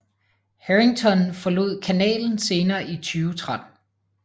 Harrington forlod kanalen senere i 2013